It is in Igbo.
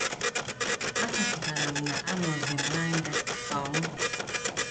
Achọpụtara m na a nọzim na nga sọọ mụ.